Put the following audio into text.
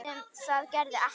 Sem það gerði ekki.